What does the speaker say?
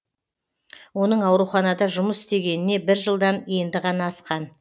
оның ауруханада жұмыс істегеніне бір жылдан енді ғана асқан